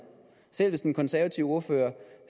selv hvis den konservative ordfører